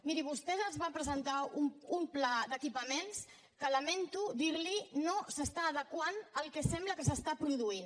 miri vostès ens van presentar un pla d’equipaments que lamento dir·li que no s’està adequant al que sembla que s’està produint